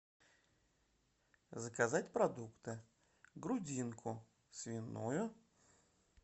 заказать продукты грудинку свиную